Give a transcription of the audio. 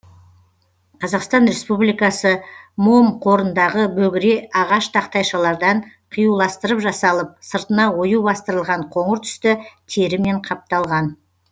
қазақстан республикасы мом қорындағы бөгіре ағаш тақтайшалардан қиюластырып жасалып сыртына ою бастырылған қоңыр түсті терімен қапталған